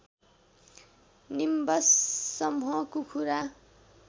nimbus समुह कुखुरा